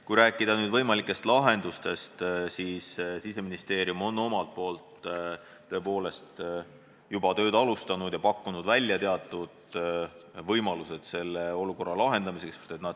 Kui rääkida võimalikest lahendustest, siis Siseministeerium on omalt poolt tõepoolest juba tööd alustanud ja pakkunud välja teatud võimalused olukorra lahendamiseks.